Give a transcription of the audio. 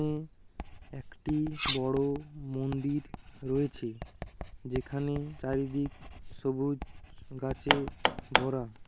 একটি বড়ো মন্দির রয়েছে যেখানে চারিদিক সবুজ গাছে ভরা।